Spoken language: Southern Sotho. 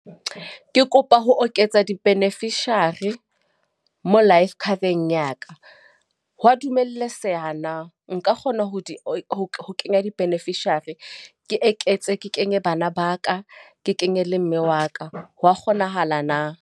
Ke kopa ho oketsa di-beneficiary, mo life cover-eng ya ka. Hwa dumeletseha na? Nka kgona ho di kenya di-beneficiary? Ke eketse ke kenye bana ba ka, ke kenye le mme wa ka. Hwa kgonahala na?